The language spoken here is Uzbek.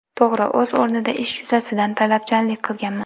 To‘g‘ri, o‘z o‘rnida ish yuzasidan talabchanlik qilganman.